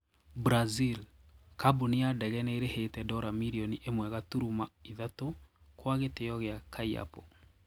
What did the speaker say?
Brazil:Kabuni ya dege niirihite dola milioni ĩmwe gaturuma ithatũ kwa gĩtio kia Caiapo.